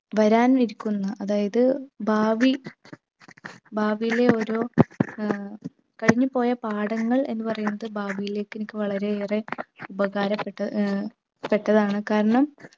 വരാൻ ഇരിക്കുന്ന അതായത് ഭാവി ഭാവിയിലെ ഓരോ ഏർ കഴിഞ്ഞു പോയ പാഠങ്ങൾ എന്ന് പറയുന്നത് ഭാവിയിലേക്ക്ക് എനിക്ക് വളരെയേറെ ഉപകാരപ്പെട്ട് ഏർ പെട്ടതാണ് കാരണം